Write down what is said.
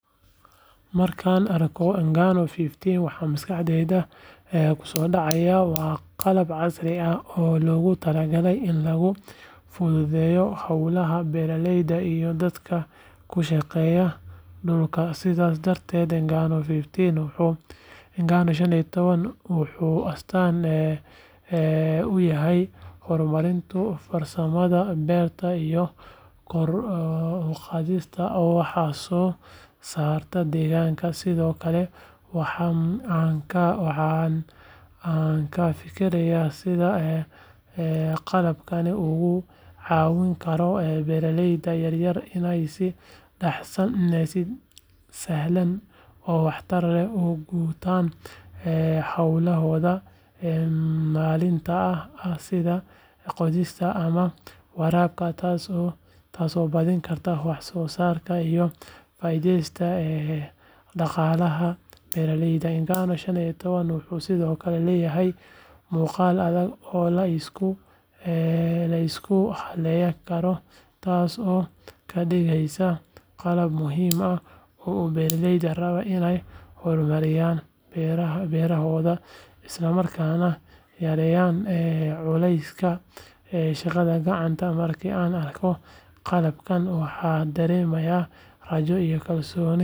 Markaan arko Ng'ano waxa maskaxdayda ku soo dhacaya waa qalab casri ah oo loogu talagalay in lagu fududeeyo hawlaha beeralayda iyo dadka ku shaqeeya dhulka sidaas darteed Ng'ano 15 wuxuu astaan u yahay horumarinta farsamada beeraha iyo kor u qaadida wax soo saarka deegaanka sidoo kale waxa aan ka fikiraa sida qalabkani uga caawin karo beeralayda yaryar inay si sahlan oo waxtar leh u gutaan hawlahooda maalinlaha ah sida qodista ama waraabka taasoo badin karta wax soo saarka iyo faa’iidada dhaqaalaha beeralayda Ng'ano 15 wuxuu sidoo kale leeyahay muuqaal adag oo la isku halayn karo taas oo ka dhigaysa qalab muhiim u ah beeralayda raba inay horumariyaan beerahooda isla markaana yareeyaan culayska shaqada gacanta markii aan arko qalabkan waxaan dareemaa rajo iyo kalsooni.